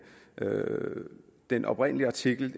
den oprindelige artikel